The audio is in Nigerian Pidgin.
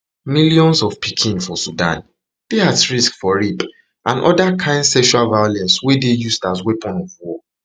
millions of pikin for sudan dey at risk for rape and oda kain sexual violence wey dey used as weapon of war